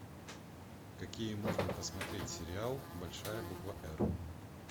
какие можно посмотреть сериал большая буква р